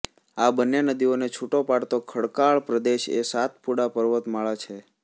આ બંને નદીઓને છૂટો પાડતો ખડકાળ પ્રદેશ એ સાતપુડા પર્વત માળા છે